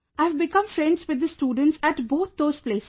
I have become friends with the students at both those places